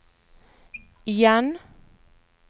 igjen